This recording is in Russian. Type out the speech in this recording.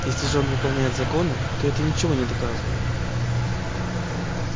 если же он выполняет законы то это ничего не доказывает